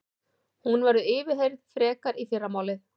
Hún verður yfirheyrð frekar í fyrramálið